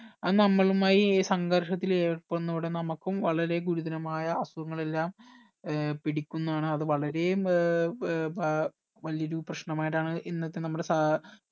അത് നമ്മളുമായി സങ്കർഷത്തിൽ ഏർപ്പെടുന്നതോടെ നമ്മക്കും വളരെ ഗുരുതരമായ അസുഖങ്ങൾ എല്ലാം ഏർ പിടിക്കുന്നതാണ് അത് വളരെ ഏർ ഏർ ഏർ വല്ല്യൊരു പ്രശ്‌നമായിട്ടാണ് ഇന്നത്തെ നമ്മുടെ സാ